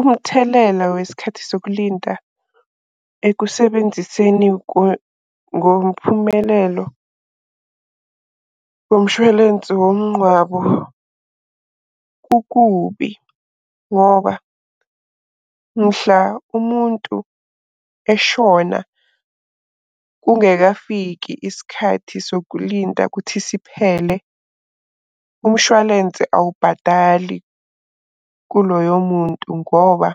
Umthelela wesikhathi sokulinda ekusebenziseni ngomphumelelo womshwalensi womnqwabo, kukubi ngoba mhla umuntu eshona kungekafiki isikhathi sokulinda kuthi siphele, umshwalense awubhadali kuloyo muntu. Ngoba